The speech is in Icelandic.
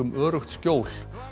öruggt skjól